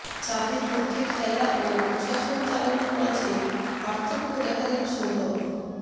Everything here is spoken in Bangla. চাপের মধ্যে খেলা ও প্রশাসন চালানোর মাঝে পার্থক্য দেখালেন সৌরভ